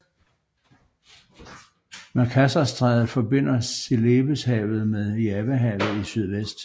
Makassarstrædet forbinder Celebeshavet med Javahavet i sydvest